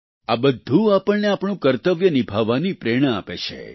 આ બધું આપણને આપણું કર્તવ્ય નિભાવવાની પ્રેરણા આપે છે